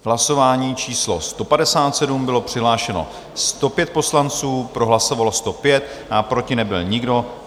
V hlasování číslo 157 bylo přihlášeno 105 poslanců, pro hlasovalo 105, proti nebyl nikdo.